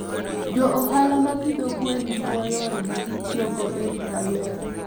Jo ohala ma pidho gwen jiwo yore ma gitiyogo e rito alwora.